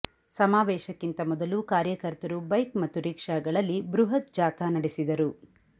ಸಮಾವೇಶಕ್ಕಿಂತ ಮೊದಲು ಕಾರ್ಯಕರ್ತರು ಬೈಕ್ ಮತ್ತು ರಿಕ್ಷಾಗಳಲ್ಲಿ ಬೃಹತ್ ಜಾಥಾ ನಡೆಸಿದರು